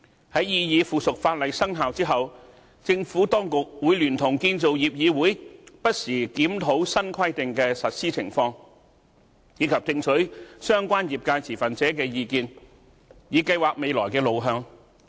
在擬議附屬法例生效後，政府當局會聯同建造業議會不時檢討新規定的實施情況，以及聽取相關業界持份者的意見，以計劃未來的路向。